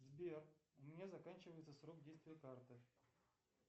сбер у меня заканчивается срок действия карты